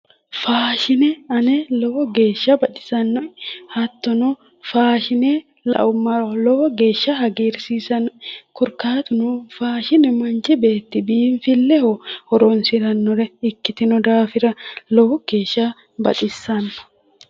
faashine ane lowo geeshsha baxisannoe hattono faashine laummaro lowo geeshsha hagiirsiisannoe korikaatuno faashine manchi beetti biinfilleho horoonsirannore ikkitino daafira lowo geeshsha baxissanno.